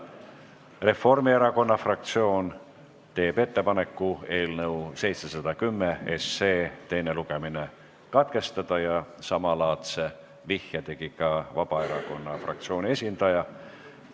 Reformierakonna fraktsioon teeb ettepaneku eelnõu 710 teine lugemine katkestada ja samalaadse vihje tegi ka Vabaerakonna fraktsiooni esindaja.